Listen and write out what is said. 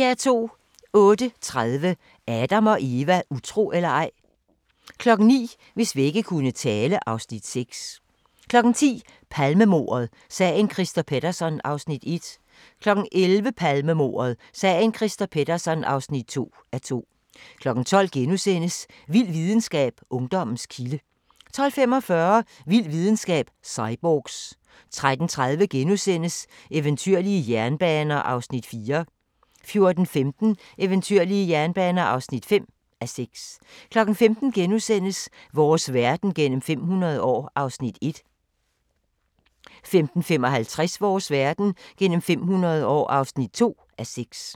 08:30: Adam & Eva: Utro eller ej? 09:00: Hvis vægge kunne tale (Afs. 6) 10:00: Palmemordet: Sagen Christer Pettersson (1:2) 11:00: Palmemordet: Sagen Christer Pettersson (2:2) 12:00: Vild videnskab: Ungdommens kilde * 12:45: Vild videnskab: Cyborgs 13:30: Eventyrlige jernbaner (4:6)* 14:15: Eventyrlige jernbaner (5:6) 15:00: Vores verden gennem 500 år (1:6)* 15:55: Vores verden gennem 500 år (2:6)